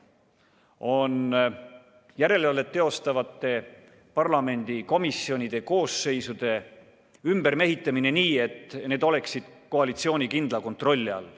Kavas on järelevalvet teostavate parlamendikomisjonide koosseisude ümbermehitamine nii, et need oleksid koalitsiooni kindla kontrolli all.